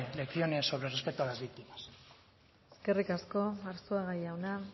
lecciones sobre respeto a las víctimas eskerrik asko arzuaga jauna